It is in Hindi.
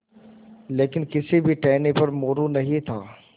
लेकिन किसी भी टहनी पर मोरू नहीं था